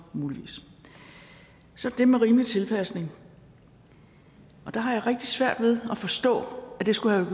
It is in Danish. så det med rimelig tilpasning der har jeg rigtig svært ved at forstå at det skulle have